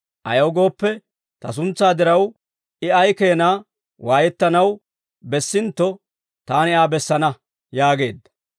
Ayaw gooppe, Ta suntsaa diraw, I ay keenaa waayettanaw bessintto, Taani Aa bessana» yaageedda.